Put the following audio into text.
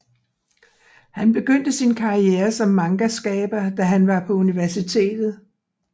Han begyndte sin karriere som mangaskaber da han var på universitetet